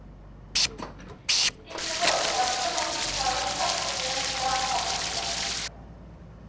Disse foretakene måtte betale skatt etter en flat månedlig sats.